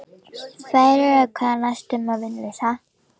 Sem þýðir að það er næstum því vonlaust.